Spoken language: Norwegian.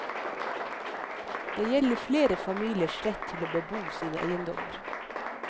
Det gjelder flere familiers rett til å bebo sine eiendommer.